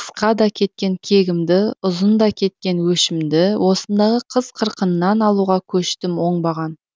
қысқада кеткен кегімді ұзында кеткен өшімді осындағы қыз қырқыннан алуға көштім оңбаған